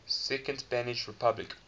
second spanish republic